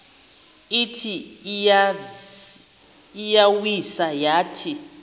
ithi iyawisa yathi